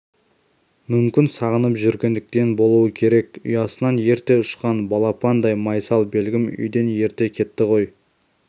мүмкін сағынып жүргендіктен болуы керек ұясынан ерте ұшқан балапандай майсалбегім үйден ерте кетті ғой